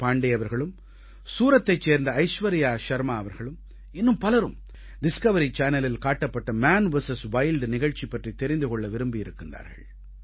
பாண்டே அவர்களும் சூரத்தைச் சேர்ந்த ஐஸ்வர்யா ஷர்மா அவர்களும் இன்னும் பலரும் டிஸ்கவரி சேனலில் காட்டப்பட்ட மான் விஎஸ் வைல்ட் நிகழ்ச்சி பற்றித் தெரிந்து கொள்ள விரும்பியிருக்கிறார்கள்